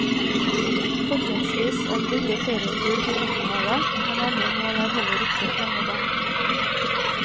Fortrinnsvis en billig ferietur til middelhavet, men andre mål er heller ikke fremmede.